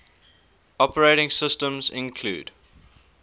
operating systems include